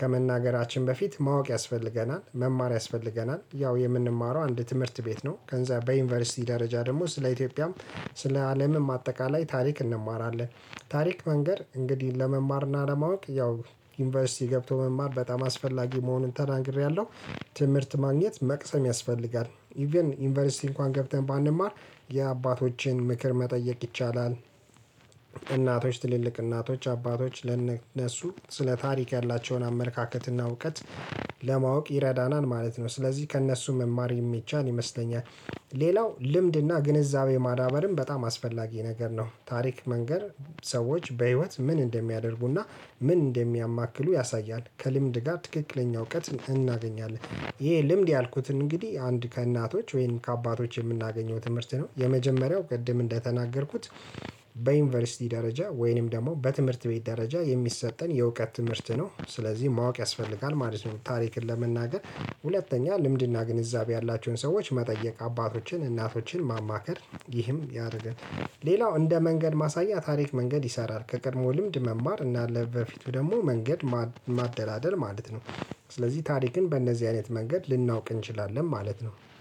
ከመናገራችን በፊት ማወቅ ያስፈልገናል መማር ያስፈልገናል ያው የምንማረው አንድ ትምህርት ቤት ነው ከእንዛ በዩንቨርሲቲ ደረጃ ደሞ ስለ ኢትዮጵያም ስለ አለምም አጠቃላይ ታሪክ እንማራለን። ታሪክ መንገር እንግዲህ ለመማርና ለማወቅ ያው ዩንቨርሲቲ ገብቶ መማር በጣም አስፈላጊ መሆኑን ተናግሪያለሁ። ትምህርት ማግኘት መቅሰም ያስፈልጋል ኢቭን ዩንቨርሲቲ እንኳን ገብተን ባንማር የአባቶቼን ምክር መጠየቅ ይቻላል። እናቶች ትልልቅ እናቶች አባቶች ለነሱ ስለ ታሪክ ያላቸውን አመለካከትና እውቀት ለማወቅ ይረዳናል ማለት ነው። ስለዚህ ከእነሱ መማር የሚቻል ይመስለኛል። ሌላው ልምድና ግንዛቤ ማዳበርም በጣም አስፈላጊ ነገር ነው። ታሪክ መንገር ሰወች በህይወት ምን እንደሚደርጉ እና ምን እንደሚያ ያሳያል ከልምድ ጋ ትክክለኛ እውቀት እናገኛለን። እሄ ልምድ ያልኩትን እንግዲህ አንድ ከእናቶች ወይንም ከአባቶች የምናገኘው ትምህርት ነው። የመጀመሪያው ቅድም እንደተናገርኩት በዩንቨርሲቲ ደረጃ ወይንም ደሞ በትምህርት ቤት ደረጃ የሚሰጠን የእውቀት ትምህርት ነው። ስለዚህ ማወቅ ያስፈልጋል ማለት ነው። ታሪክን ለመናገር ሁለተኛ ልምድና ግንዛቤ ያላቸውን ሰዎች መጠየቅ አባቶችን እናቶችን ማማከር ይህም ያደርጋል። ሌላው እንደ መንገድ ማሳያ ታሪክ መንገድ ይሰራል ከቀድሞው ልምድ መማር እና ለበፊቱ ደሞ መንገድ ማደላደል ማለት ነው። ስለዚህ ታሪክን በእነዚህ አይነት መንገድ ልናውቅ እንችላለን ማለት ነው